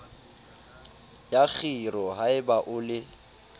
la kgiro haeba o le